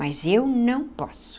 Mas eu não posso.